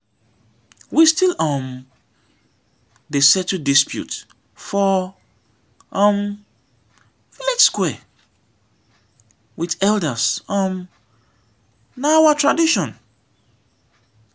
we still um dey settle disputes for um village square wit elders um na our tradition.